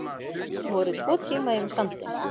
Voru tvo tíma yfir sandinn